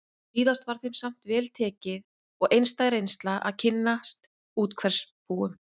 Víðast var þeim samt vel tekið og einstæð reynsla að kynnast úthverfabúum